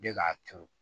Ne k'a turu